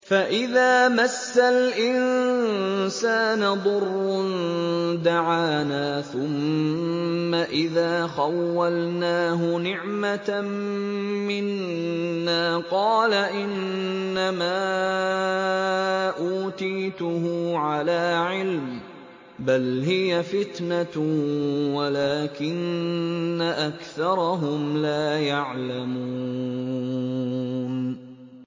فَإِذَا مَسَّ الْإِنسَانَ ضُرٌّ دَعَانَا ثُمَّ إِذَا خَوَّلْنَاهُ نِعْمَةً مِّنَّا قَالَ إِنَّمَا أُوتِيتُهُ عَلَىٰ عِلْمٍ ۚ بَلْ هِيَ فِتْنَةٌ وَلَٰكِنَّ أَكْثَرَهُمْ لَا يَعْلَمُونَ